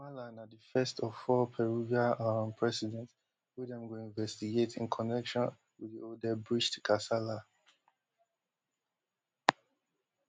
mala na di first of four peruvial um presidents wey dem go investigate in connection wit di odebrcht kasala